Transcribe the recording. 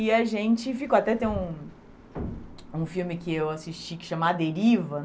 E a gente ficou... Até tem um um filme que eu assisti, que chama A Deriva.